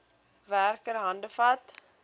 werker hande vat